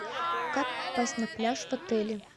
как попасть на пляж в отеле